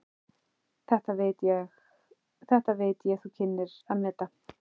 Þetta veit ég þú kynnir að meta.